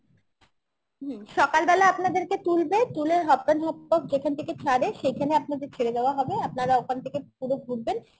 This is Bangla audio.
হম সকাল বেলায় আপনাদের কে তুলবে, তুলে হপপেন হপ যেখান থেকে ছাড়ে সেখানে আপনাদের ছেড়ে দেওয়া হবে আপনারা ওখান থেকে পুরো ঘুরবেন